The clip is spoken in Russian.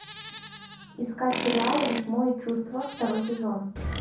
искать сериал восьмое чувство второй сезон